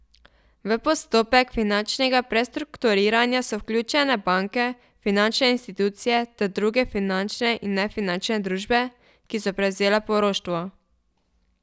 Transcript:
V postopek finančnega prestrukturiranja so vključene banke, finančne institucije ter druge finančne in nefinančne družbe, ki so prevzele poroštvo.